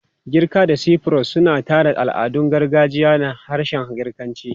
Girka da Cyprus suna tsara al'adun gargajiya na harshen Girkanci.